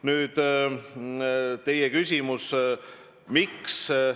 Nüüd teie küsimus: miks?